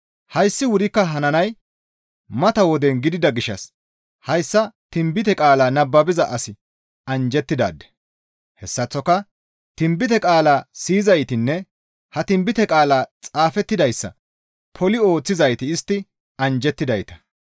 Hayssi wurikka hananay mata woden gidida gishshas hayssa tinbite qaalaa nababiza asi anjjettidaade. Hessaththoka tinbite qaalaa siyizaytinne ha tinbite qaalaa xaafettidayssa poli ooththizayti istti anjjettidayta.